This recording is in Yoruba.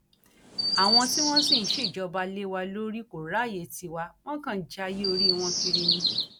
àwọn tí wọn sì ń ṣèjọba lé wa lórí kò ráàyè tíwà wọn kàn ń jayé orí wọn kiri ni